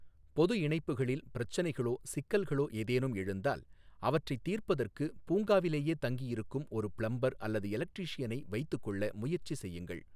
பொது இணைப்புகளில் பிரச்சனைகளோ சிக்கல்களோ ஏதேனும் எழுந்தால் அவற்றைத் தீர்ப்பதற்குப் பூங்காவிலேயே தங்கியிருக்கும் ஒரு பிளம்பர் அல்லது எலக்டிரீஷியனை வைத்துக்கொள்ள முயற்சி செய்யுங்கள்.